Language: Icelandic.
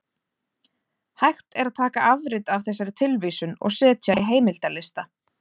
Hægt er að taka afrit af þessari tilvísun og setja í heimildalista.